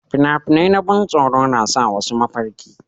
fina-finai na ban tsoro na sa wasu mafarki